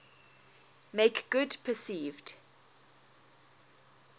make good perceived